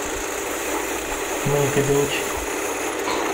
моника беллуччи